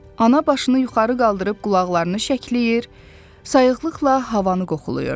Ana başını yuxarı qaldırıb qulaqlarını şəkləyir, sayıqlıqla havanı qoxlayırdı.